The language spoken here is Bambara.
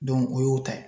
o y'o ta ye